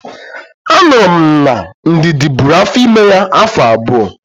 Anụrụ m na Ndidi bụrụ afọ ime ya afọ abụọ